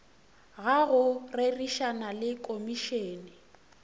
ga go rerišana le komišene